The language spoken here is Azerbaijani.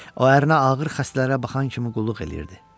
O ərinə ağır xəstələrə baxan kimi qulluq eləyirdi.